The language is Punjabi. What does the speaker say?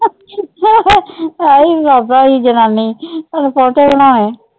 ਹਾਏ ਬਾਬਾ ਜੀ ਜਨਾਨੀ ਉਹਨੂੰ ਪੋਜੇ ਬਣਾਏ।